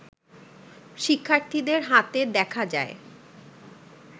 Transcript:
শিক্ষার্থীদের হাতে দেখা যায়